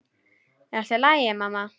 Er allt í lagi, mamma?